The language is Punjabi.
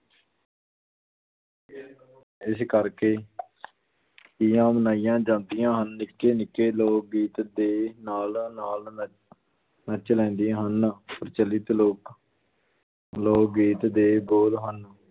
ਇਸ ਕਰਕੇ ਤੀਆਂ ਮਨਾਈਆਂ ਜਾਂਦੀਆਂ ਹਨ, ਨਿੱਕੇ ਨਿੱਕੇ ਲੋਕ ਗੀਤ ਦੇ ਨਾਲ ਨਾਲ ਨੱ~ ਨੱਚ ਲੈਂਦੀਆਂ ਹਨ ਪ੍ਰਚਲਿਤ ਲੋਕ ਲੋਕ ਗੀਤ ਦੇ ਬੋਲ ਹਨ